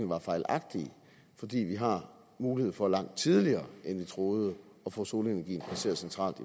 var fejlagtige fordi vi har mulighed for langt tidligere end vi troede at få solenergien placeret centralt